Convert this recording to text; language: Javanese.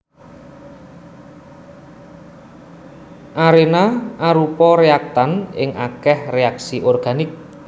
Arena arupa réaktan ing akèh reaksi organik